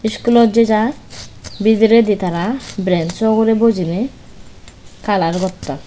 iskulot jejai bidiredi tara brenso ugurey bojinei kalar gotton.